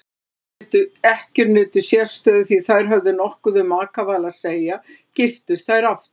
Ekkjur nutu sérstöðu því þær höfðu nokkuð um makaval að segja giftust þær aftur.